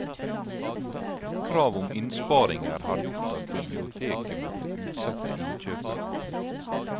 Krav om innsparinger har gjort at biblioteket måtte utsette innkjøpene.